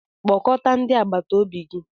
Kpọkọta ndị agbata obi gi!